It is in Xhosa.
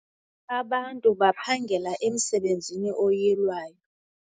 Anbantu baphangela emsebenzini oyilwayo.